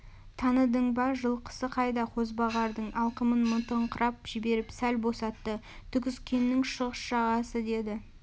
таныдың ба жылқысы қайда қозбағардың алқымын мытыңқырап жіберіп сәл босатты түгіскеннің шығыс жағасы деді